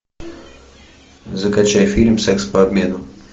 закачай фильм секс по обмену